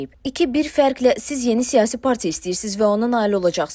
İki bir fərqlə siz yeni siyasi partiya istəyirsiz və ona nail olacaqsız.